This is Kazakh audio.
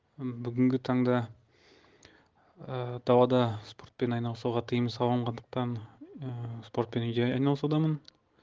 бүгінгі таңда ыыы далада спортпен айналысуға тиым салынғандықтан ыыы спортпен үйде айналысудамын